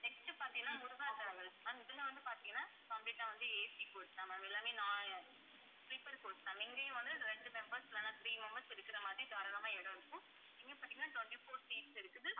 next பாத்தீங்கன்னா Muruga travels ma'am இதில வந்து பாத்தீங்கன்னா complete ஆ வந்து AC coach தான் ma'am எல்லாமே நா~ sleeper coach தான் இங்கயும் வந்து இரண்டு members இல்லைன்னா three members இருக்கிற மாதிரி தாராளமா இடம் இருக்கும். இங்க பாத்தீங்கன்னா twenty-four seats இருக்குது.